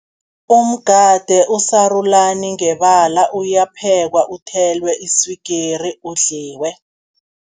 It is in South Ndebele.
Umgade usarulani ngebala, uyaphekwa uthelwe iswigiri udliwe.